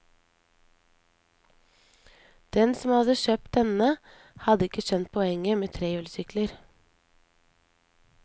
Den som hadde kjøpt denne hadde ikke skjønt poenget med trehjulssykler.